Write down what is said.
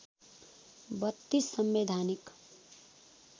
३२ संवैधानिक